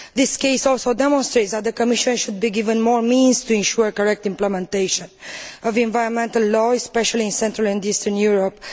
This case also demonstrates that the Commission should be given more means to ensure correct implementation of environmental law, especially in Central and Eastern Europe.